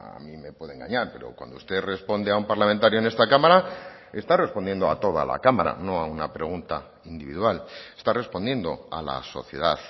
a mí me puede engañar pero cuando usted responde a un parlamentario en esta cámara está respondiendo a toda la cámara no a una pregunta individual está respondiendo a la sociedad